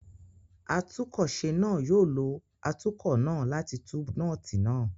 Atúnkọ̀se náà yóò lo atúkọ̀ náà láti tú nọ́ọ́tì náà.